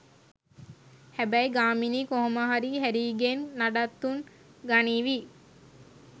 හැබැයි ගාමිණී කොහොම හරි හැරීගෙන් නඩත්තුත් ගනීවි